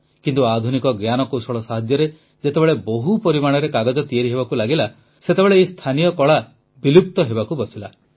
କିନ୍ତୁ ଆଧୁନିକ ଜ୍ଞାନକୌଶଳ ସାହାଯ୍ୟରେ ଯେତେବେଳେ ବହୁ ପରିମାଣରେ କାଗଜ ତିଆରି ହେବାକୁ ଲାଗିଲା ସେତେବେଳେ ଏହି ସ୍ଥାନୀୟ କଳା ବିଲୁପ୍ତ ହେବାକୁ ବସିଲା